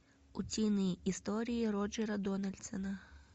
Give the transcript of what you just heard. утиные истории роджера дональдсона